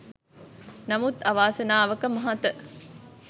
නමුත් අවාසනාවක මහත